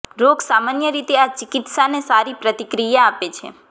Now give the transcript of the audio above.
રોગ સામાન્ય રીતે આ ચિકિત્સાને સારી પ્રતિક્રિયા આપે છે